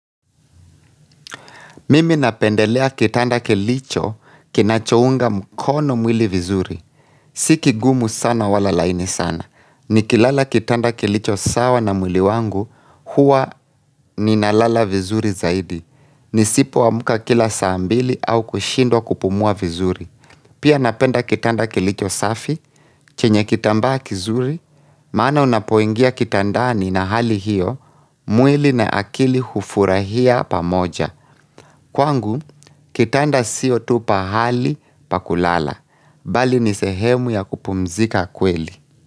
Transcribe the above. Mimi napendelea kitanda kilicho kinachounga mkono mwili vizuri. Si kigumu sana wala laini sana. Ni kilala kitanda kilicho sawa na mwili wangu huwa ninalala vizuri zaidi. Nisipoamka kila saa mbili au kushindwa kupumua vizuri. Pia napenda kitanda kilicho safi, chenye kitambaa kizuri, maana unapoingia kitandani na hali hiyo, mwili na akili hufurahia pamoja. Kwangu, kitanda sio tu pahali pa kulala, bali ni sehemu ya kupumzika kweli.